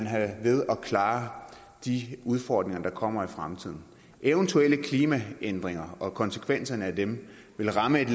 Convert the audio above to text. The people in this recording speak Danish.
have ved at klare de udfordringer der kommer i fremtiden eventuelle klimaændringer og konsekvenserne af dem vil ramme et